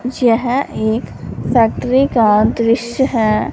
यह एक फैक्ट्री का दृश्य है।